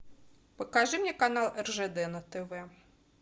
покажи мне канал ржд на тв